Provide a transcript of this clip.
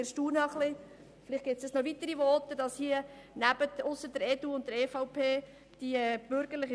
Wir sind etwas darüber erstaunt, dass die bürgerliche Seite sich ausser der EDU und der EVP der Diskussion verweigert;